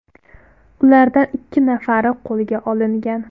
Ulardan ikki nafari qo‘lga olingan.